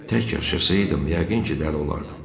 Tək yaşasaydım, yəqin ki, dəli olardım.